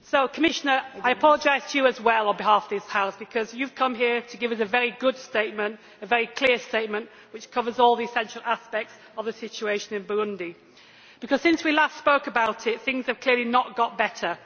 Commissioner, I apologise to you as well on behalf this House because you have come here to give us a very good statement, a very clear statement, which covers all the essential aspects of the situation in Burundi. Since we last spoke about it, things are clearly not better.